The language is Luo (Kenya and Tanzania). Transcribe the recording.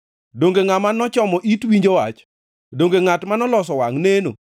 Donge ngʼama nochomo it winjo wach? Donge ngʼat manoloso wangʼ neno?